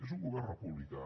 és un govern republicà